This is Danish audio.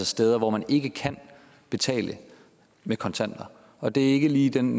steder hvor man ikke kan betale med kontanter og det er ikke lige i den